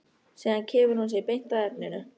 Síðan kemur hún sér beint að efninu.